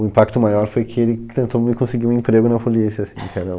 O impacto maior foi que ele tentou me conseguir um emprego na polícia, assim, que era um...